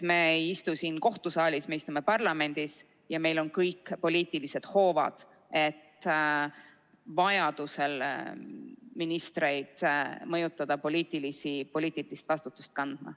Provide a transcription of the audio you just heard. Me ei istu siin kohtusaalis, me istume parlamendis ja meil on kõik poliitilised hoovad, et vajaduse korral ministreid mõjutada poliitilist vastutust kandma.